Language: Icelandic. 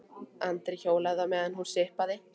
Andri hjólaði á meðan hún sippaði.